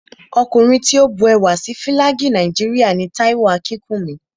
Ọkùnrin tí ó bu ẹwà sí Fílàgì Nàìjíríà ni Táíwò Akínkúnmi